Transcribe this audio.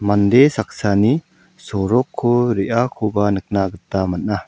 mande saksani sorokko re·akoba nikna gita man·a.